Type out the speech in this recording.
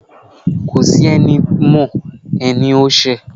Kọ si ení mọ, enítí o ṣẹ́